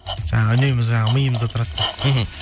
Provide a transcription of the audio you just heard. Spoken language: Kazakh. жаңағы үнемі жаңағы миымызда тұрады деп мхм